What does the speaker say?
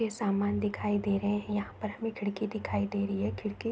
ये सामान दिखाई दे रहे है यहाँ पर हमे खिड़की दिखाई दे रही है। खिड़की --